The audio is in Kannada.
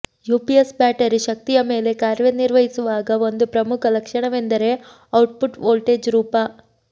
ಯುಪಿಎಸ್ ಬ್ಯಾಟರಿ ಶಕ್ತಿಯ ಮೇಲೆ ಕಾರ್ಯನಿರ್ವಹಿಸುವಾಗ ಒಂದು ಪ್ರಮುಖ ಲಕ್ಷಣವೆಂದರೆ ಔಟ್ಪುಟ್ ವೋಲ್ಟೇಜ್ ರೂಪ